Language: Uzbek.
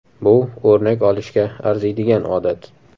Bu o‘rnak olishga arziydigan odat.